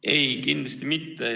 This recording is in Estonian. Ei, kindlasti mitte.